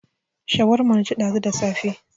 Shawarma na ci ɗazu da safe